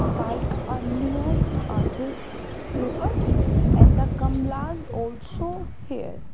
bike on near uh this stable and the gamlas also here.